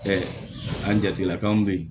an jatila kanw be ye